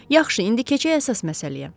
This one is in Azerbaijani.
Yaxşı, indi keçək əsas məsələyə.